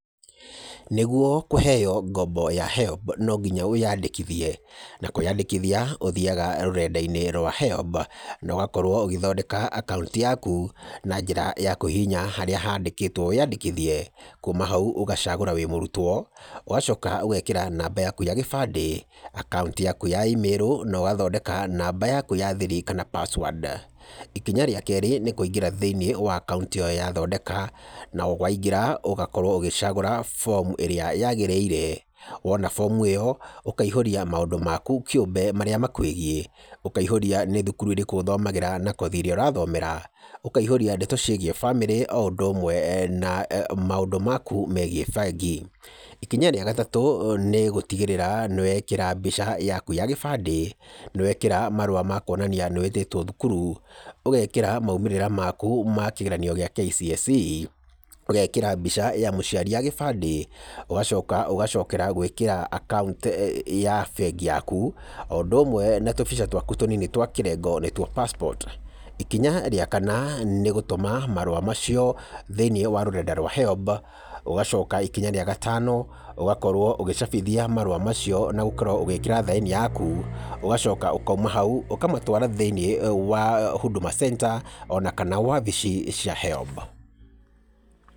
Nĩguo kũheyo ngombo ya HELB no nginya wĩyandĩkithie, na kwĩyandĩkithia ũthiyaga rũrenda-inĩ rwa HELB, nogakorwo ũgĩthondeka akaunti yaku, na njĩra ya kũhihinya harĩa handĩkĩtwo wĩyandĩkithie, kuuma hau ũgacagũra wĩ mũrutwo, ũgacoka ũgekĩra namba yaku ya gĩbandĩ, akaunti yaku ya e-mail, na ũgathondeka namba yaku ya thiri, kana password, ikinya rĩa kerĩ, nĩ kũingĩra thĩinĩ wa akaunti ĩyo yathondeka, na waingĩra ũgakorwo ũgĩcagũra fomu ĩra yagĩrĩire, wona fomu ĩyo ũkaihũria maũndũ maku kĩũmbe marĩa makwĩgiĩ, ũkaihũria nĩ thukuru ĩrĩkũ ũthomagĩra na kothi ĩrĩa ũrathomera, ũkaihũria ndeto ciĩgiĩ bamĩrĩ o ũndũ ũmwe na maũndũ maku megiĩ bengi, ikinya rĩa gatatũ, nĩ gũtigĩrĩra nĩ wekĩra mbica yaku ya gĩbandĩ, nĩ wekĩra marũa makwonania nĩ wĩtĩtwo thukuru, ũgekĩra maimĩrĩra maku ma kĩgeranio gĩa KCSE, ũgekĩra mbica ya mũciari ya gĩbandĩ, ũgacoka ũgacokera gwĩkĩra akaunti ya bengi yaku, o ũndũ ũmwe na tũbica twaku tũnini twa kĩrengo, nĩ tuo passport, ikinya rĩa kana, nĩ gũtũma marũa macio thĩinĩ wa rũrenda rwa HELB, ũgacoka ikinya rĩa gatano, ũgakorwo ũgĩcabithia marũa macio, na gũkorwo ũgĩkĩra thaĩni yaku, ũngacoka ũkaima hau, ũkamatwara thĩinĩ wa Huduma Center, onakana wabici cia HELB.